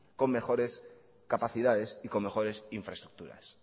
con mejores capacidades y con mejores infraestructuras